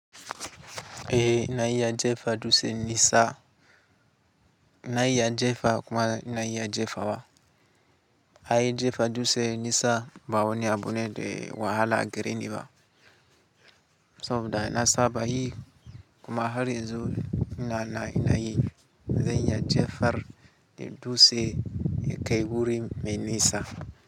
Ehh, ina iya jefa dutse nisa, na iya jefa kuma na aya jefawa. Ai jefa dutse nisa bawani abune de wahala gareni ba. Saboda na saba yi kuma har yanzu inan inayi, zan aya jefar da dutse yakai wurin mai nisa.